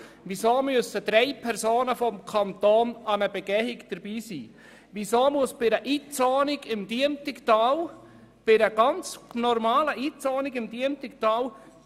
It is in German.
Weshalb müssen zehn Personen an einer Begehung teilnehmen, wenn jemand im Diemtigtal eine ganz normale Umzonung vornehmen will?